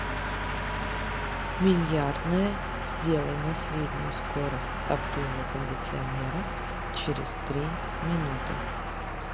бильярдная сделай на среднюю скорость обдува кондиционера через три минуты